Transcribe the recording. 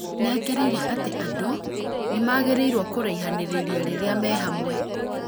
Nĩekĩrĩire atĩ andũ nĩmagĩrĩirwo kũraihanĩrĩria rĩrĩa me hamwe